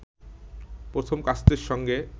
প্রথম কাস্তের সঙ্গে